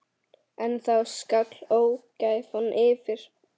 En þá skall ógæfan yfir.